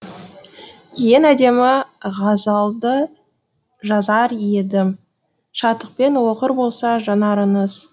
ең әдемі ғазалды жазар едім шаттықпен оқыр болса жанарыңыз